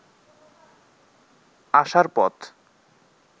আসার পথ